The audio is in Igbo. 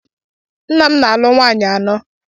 Nna m na-alụ nwaanyị anọ.